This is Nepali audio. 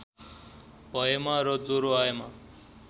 भएमा र ज्वरो आएमा